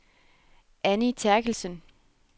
Annie Therkildsen